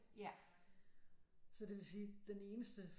Så det vil sige den eneste